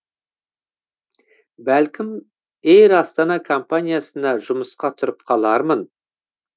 бәлкім эйр астана компаниясына жұмысқа тұрып қалармын